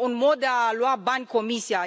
un mod de a lua bani Comisia.